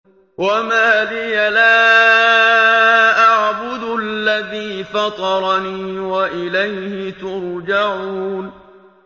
وَمَا لِيَ لَا أَعْبُدُ الَّذِي فَطَرَنِي وَإِلَيْهِ تُرْجَعُونَ